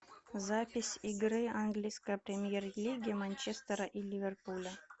запись игры английской премьер лиги манчестера и ливерпуля